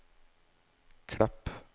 Klepp